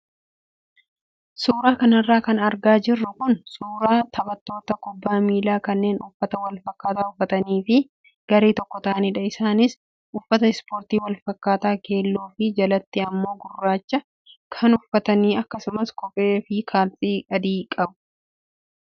Suuraa kanarra kan argaa jirru kun suuraa taphattoota kubbaa miilaa kanneen uffata wal fakkataa uffatanii fi garee tokko ta'anidha. Isaanis uffata ispoortii wal fakkaataa keelloo fi jalatti immoo gurraacha kan uffatan akkasumas kophee fi kaalsii adii qabu.